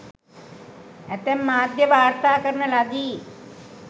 ඇතැම් මාධ්‍ය වාර්තා කරන ලදි.